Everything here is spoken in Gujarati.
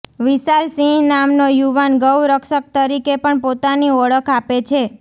વિશાલસિંહ નામનો યુવાન ગૌ રક્ષક તરીકે પણ પોતાની ઓળખ આપે છે